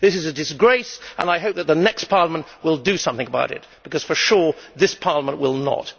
This is a disgrace, and I hope that the next Parliament will do something about it because for sure this Parliament will not.